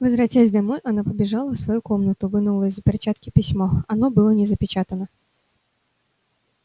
возвратясь домой она побежала в свою комнату вынула из-за перчатки письмо оно было не запечатано